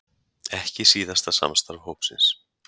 Ekki síðasta samstarf hópsins